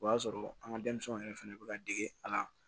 O y'a sɔrɔ an ka denmisɛnw yɛrɛ fɛnɛ bɛ ka dege a la